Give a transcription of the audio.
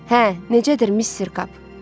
Hə, necədir Missir Kap?